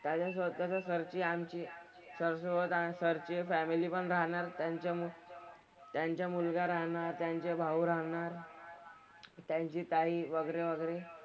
काहीजणं स्वतःची सर ची आमची सर सोबत सरची फॅमिली पण राहणार. त्यांच्यामुळं त्यांचा मुलगा राहणार, त्यांचे भाऊ राहणार, त्यांची ताई वगैरे वगैरे.